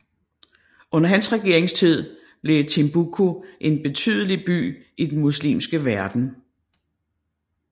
Under hans regeringstid blev Timbuktu en betydelig by i den muslimske verden